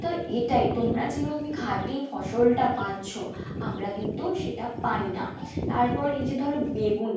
তো এটাই তোমরা যেইভাবে খাঁটি ফসল টা পাচ্ছো আমরা কিন্তু সেটা পাইনা তারপর এইযে ধরো বেগুন